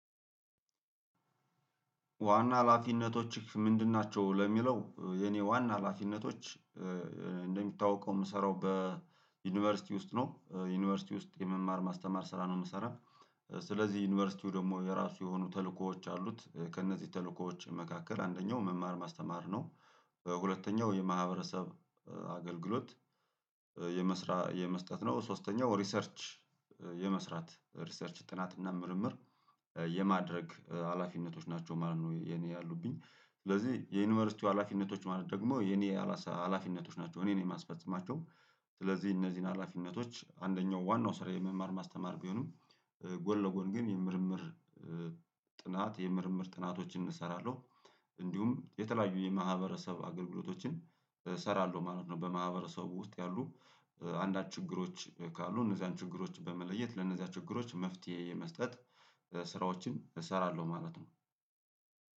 ዋና ሀላፊነቶችህ ምንድን ናቸው? ለሚለው የኔ ዋና ሀላፊነቶች እንደሚታወቀው የምሰራው በዩኒቨርሲቲ ውስጥ ነው ዩኒቨርሲቲ ውስጥ የመማር ማስተማር ስራ ነው የምሰራው። ስለዚህ ዩኒቨርሲቲው ደግሞ የራሱ የሆኑ ተልእኮዎች አሉት ከእነዚህ ተልእኮዎች መካከል አንደኛው መማር ማስተማር ነው። ሁለተኛው የማህበረሰብ አገልግሎት የመስራ የመስጠት ነው። ሶስተኛው ሪሰርች የመስራት ሪሰርች ጥናት እና ምርምር የማድረግ ሀላፊነቶች ናቸው ማለት ነው። የኔ ያሉብኝ ስለዚህ የዩኒቨርሲቲው ሀላፊነቶች ማለት ደግሞ የኔ ሀላፊነቶች ናቸው እኔን የማስፈጽማቸው። ስለዚህ እነዚህን ሀላፊነቶች አንደኛው ዋናው ስራዬ የመማር ማስተማር ቢሆንም ጎን ለጎን ግን የምርምር ጥናት የምርምር ጥናቶችን እሰራለሁ። እንዲሁም የተለያዩ የማህበረሰብ አገልግሎቶችን እሰራለሁ ማለት ነው። በማህበረሰቡ ውስጥ ያሉ አንዳች ችግሮች ካሉ እነዚህን ችግሮች በመለየት ለእነዚህ ችግሮች መፍትሄ የመስጠት ስራዎችን እሰራለሁ ማለት ነው።